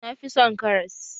Na fi son karas